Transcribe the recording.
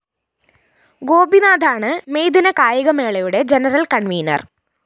ഗോപിനാഥാണ് മെയ്ദിന കായിക മേളയുടെ ജനറൽ കണ്‍വീനര്‍